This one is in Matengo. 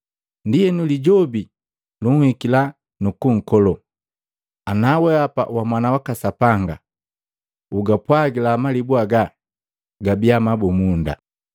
Ndienu Lijobi, lunhikila nukunkolo, “Ana wehapa wa Mwana waka Sapanga, ugapwagila malibu aga gabiya mabumunda.”